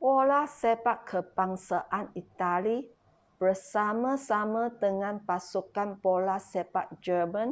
bola sepak kebangsaan itali bersama-sama dengan pasukan bola sepak german